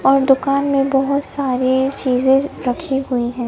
और दुकान में बहोत सारी चीज रखी हुई हैं।